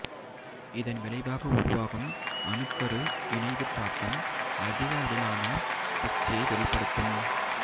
இதன் விளைவாக உருவாகும் அணுக்கரு இணைவுத் தாக்கம் அதிகளவிலான சக்தியை வெளிப்படுத்தும்